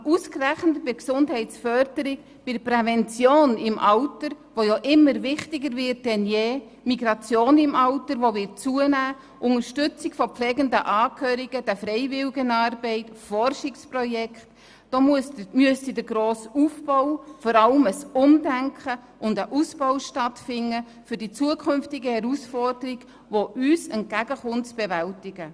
Aber ausgerechnet bei der Gesundheitsförderung, bei der Prävention im Alter, die wichtiger denn je sein wird, bei der Migration im Alter, die zunehmen wird, bei der Unterstützung von pflegenden Angehörigen, der Freiwilligenarbeit und bei den Forschungsprojekten müsste der grosse Aufbau, vor allem ein Umdenken und ein Ausbau stattfinden, um die künftige Herausforderung bewältigen zu können.